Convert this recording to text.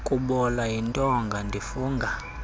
kubola yintonga ndifunga